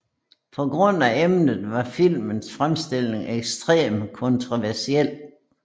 På grund af emnet var filmens fremstilling ekstremt kontroversiel